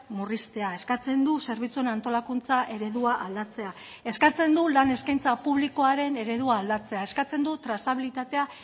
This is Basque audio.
murriztea eskatzen du zerbitzuen antolakuntza eredua aldatzea eskatzen du lan eskaintza publikoaren eredua aldatzea eskatzen du trazabilitatea